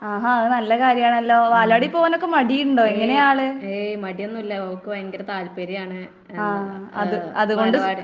ആഹാ അത് നല്ല കാര്യാണല്ലോ ബാലവാടിയിൽ പോവാനൊക്കെ മടിയുണ്ടോ? എങ്ങനാ ആള്? ആഹ് അത് അതുകൊണ്ട്